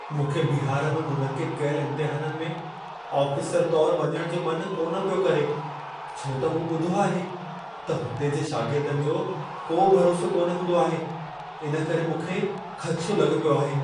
मूंखे बिहार में मुनक़िदु कयलु इम्तिहाननि में आफ़िसरु तौरु वञणु जो मन कान पियो करे छो त मूं ॿुधो आहे त हुते जे शागिर्दनि जो को भरोसो कान हूंदो आहे। इन करे मूंखे ख़दिशो लॻो पियो आहे।